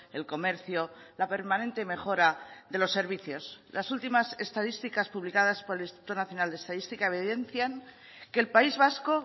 el comercio la permanente mejora de los servicios las últimas estadísticas publicadas por el instituto nacional de estadística evidencian que el país vasco